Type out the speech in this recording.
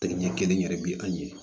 Tɛ ɲɛ kelen yɛrɛ bɛ an ye